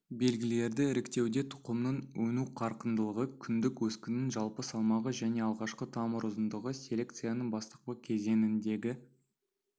белгілерді іріктеуде тұқымның өну қарқындылығы күндік өскіннің жалпы салмағы және алғашқы тамыр ұзындығы селекцияның бастапқы кезеңінде